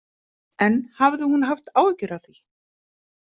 En hafði hún haft áhyggjur af því?